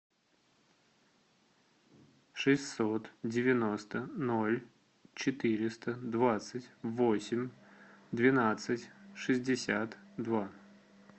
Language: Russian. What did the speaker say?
шестьсот девяносто ноль четыреста двадцать восемь двенадцать шестьдесят два